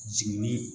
Jiginni